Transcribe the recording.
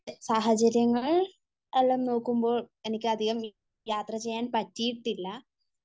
എൻ്റെ സാഹചര്യങ്ങൾ എല്ലാം നോക്കുമ്പോൾ എനിക്ക് അധികം യാത്ര ചെയ്യാൻ പറ്റിയിട്ടില്ല